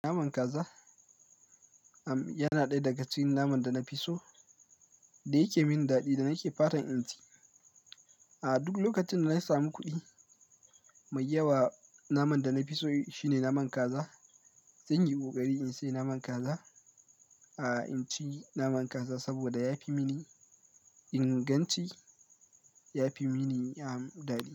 Naman kaza, am, yana ɗaya daga cikin naman da na fi so da yake min daɗi da nake fatan in ci. A duk lokacin da na samu kuɗi mai yawa, naman da na fi so shine naman kaza. Zan yi ƙoƙari in sayi naman kaza. A in ci naman kaza saboda ya fi mini inganci. Ya fi mini, am, daɗi.